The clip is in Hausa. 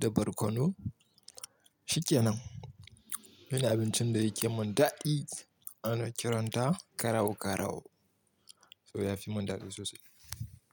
da barkono. Shi kenan. Wani abincin da yake mun daɗi ana kiranta garau garau. So ya fi mun daɗi sosai.